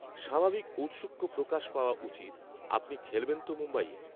স্বাভাবিক ঔৎসুক্য প্রকাশ পাওয়া উচিত, আপনি খেলবেন তো মুম্বাইয়ে